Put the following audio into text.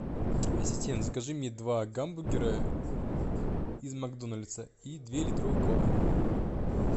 ассистент закажи мне два гамбургера из макдональдса и две литровых колы